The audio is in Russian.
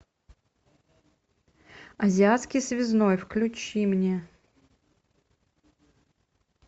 азиатский связной включи мне